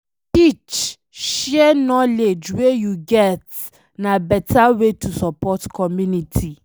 To teach, share knowledge wey you get na beta way to support community